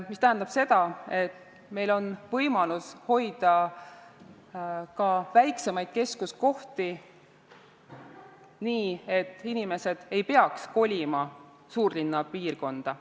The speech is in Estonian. See tähendab seda, et meil on võimalus hoida ka väiksemaid keskuskohti nii, et inimesed ei peaks kolima suurlinna piirkonda.